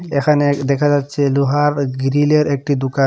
এখানে দেখা যাচ্ছে লোহার গ্রিলের একটি দোকান।